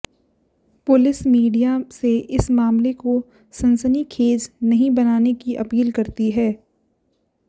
police media से इस मामले को सनसनीखेज नहीं बनाने की अपील करती है